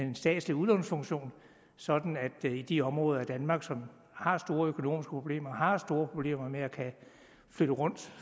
en statslig udlånsfunktion sådan at de områder i danmark som har store økonomiske problemer har store problemer med at kunne flytte rundt